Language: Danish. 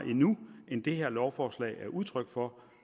end det her lovforslag er udtryk for